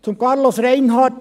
Zu Carlos Reinhard: